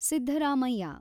Siddaramaiah